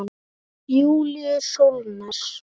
Júlíus Sólnes.